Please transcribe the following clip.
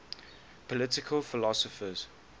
political philosophers